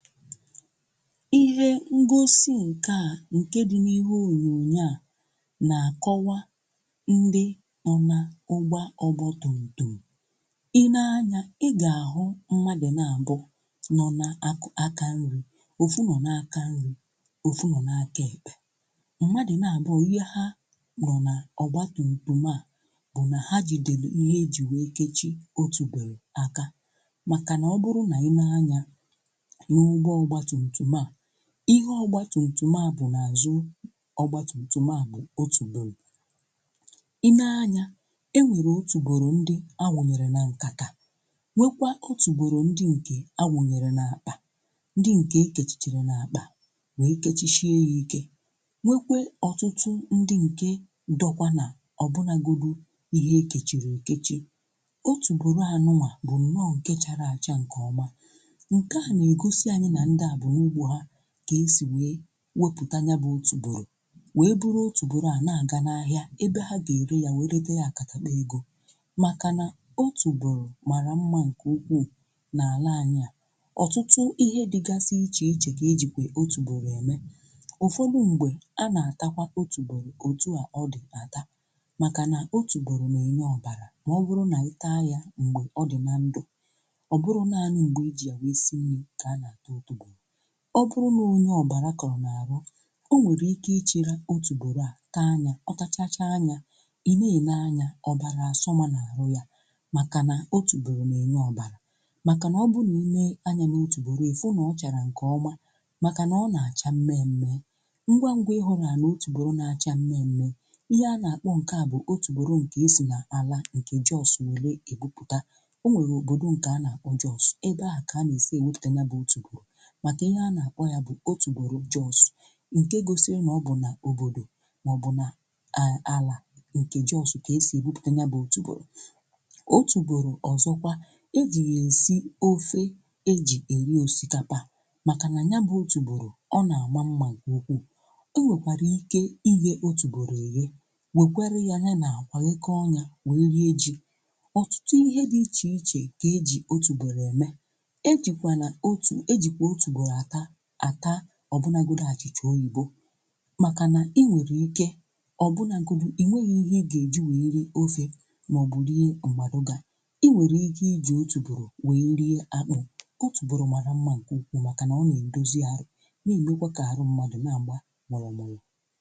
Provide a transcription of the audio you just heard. ihe onyonyo nke a anyị na-ahụ bụ nke a na-akpọ ọgbụgba mmiri n'ubi ihe e ji egboro ya bụ mmiri n'ubi bụ ka mmiri wee nwee ike na-agbazu n'ihe ndị a kọrọ maka na ọ bụ na ọgbụgba mmiri adị na ya ọ ga-enyere aka mmiri abazue ihe niile ndị anyị kọrọ akọ nyekwa aka ọ bụrụ na ide mmiri a bịa ọ ga-ebupu ọ gaghị enwe ike bupu ihe ndị anyị kọrọ n'ubi maka na ị ga-achọpụta na ihe a wụ nnukwu ubi a kọrọ ọpụpa ọpụpa bụ ihe a na-ata ata maka na ihe e ji wee tinye ọgbụgba ọgbụgba mmiri maọbụ ọgbụgba mmiri n'ubi a bụ ka mmiri wee nwee ike ọgata ka ọ gaa ka ọ ghara ịdị ná adọrọ maka na ọ dọrọ a dọrọ ọ mee ọpụpa a ọṅụ mmiri maọbụ ọ mee ya orebe ure makana ị lee anya ị ga-achọpụta na ubi a nuwa bụ nnukwu ubi ọpụpa ọ bụ nọọ nnukwu ihe mara mma nke ukwuu nke a na-ata ata ụfọdụ ndị mgbe na-eghekwa ọpụpa eghe wee na-ata ya ma ọ bụrụ na ị ghechaa ya eghe wee na-ata ya ma ọ bụrụ na ị ghechaa ya eghe ọtụtụ kwa mgbe a na-esikwa ya bụ ọpụpa esi itisie ya ị na-agbawara ya na-ata ọtụtụ ihe dị iche iche ka e ji ọpụpa eme ị nwere ike ghechaa ọpụpa eghe were ya kwọọ na engine ọ bụrụ na ị kwọchaa ọpụpa ahụ akwọọ ị ga-achọpụta na ọpụpa a ejikwa ya eme ede ose nke eji ata ihe a na-akpọ anara ọpọpọ ọtụtụ ihe ka esi n'ọpọpọ were arụ n'eziokwu ọpọpọkwa ị nwere ike I goro ya were ya wee rie unere ụfọdụ mgbe ọtụtụ ndị mmadụ na eji ọpọpọ eri unere ojii ụfọdụkwa na-eji ya eri unere ọcha ụfọdụkwa na-eji ọpọpọ aṅụkwa ihe nke ọṅụṅụ a na-akpọ garri maka na I lee kwasị anya ị ga-achọpụta na ọpụpa bụ nnukwu ihe n'obodo anyị ọtụtụ ihe dị iche iche ka e ji ọpụpa eme ọtụtụ ndị mmadụ na-atakwanu ọpụpa ata ụfọdụ mgbe ọ bụrụ na ike adịghị gị isi ọpụpa esi I nwere ike ịghọta sị ya n'ubi etu a ị ga-esinwu ya esi rie ya erie maọbụ na ị were ya etu ahụ ọ dị na ndụ n'esibeghi ya esi wee taa ya ọ nweghị ihe ọpọpọ na-eme n'ahụ mmadụ ọtụtụ kwa mgbe ejikwa ọpọpọ e e ọpọpa eme mmanụ a na-akpọ mmanụ ọpọpa makana nke ahụ mana riri nke anyị na-agbanye n'ololo anyị ji esi nri ịhụ na mmanụ ọpọpa a mara mma nke ukwuu maka na ọ na-eme ka ahụ anyị na-akwọ mụrụ mụrụ